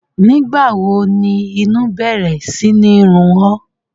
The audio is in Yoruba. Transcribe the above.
Nígbàwo ni inu bẹ̀rẹ̀ sini run ọ́?